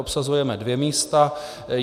Obsazujeme dvě místa.